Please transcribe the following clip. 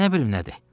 Nə bilim nədir.